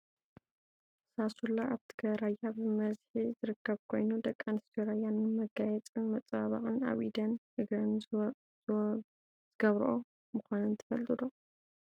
ሳሱላ ኣብ ትግራይ ራያ ብመዝሒ ዝርከብ ኮይኑ ደቂ ኣንስትዮ ራያ ንመጋየፅን መፀባበቅን ኣብ ኢደንን እግረንን ዝወብኦኦ /ዝገብሮኦ/ ምኳነን ትፈልጡ ዶ ?